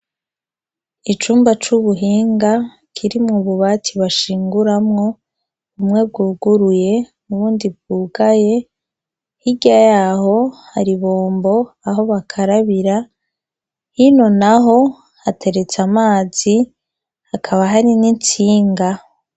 Icumba c'ubuhinga kirimwo ububati bashinguramwo, bumwe bwuguruye n'ubundi bwugaye. Hirya yaho hari ibombo, aho bakarabira. Hino naho hateretse amazi, hakaba hari n'intsinga.